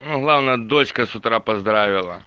главное дочка с утра поздравил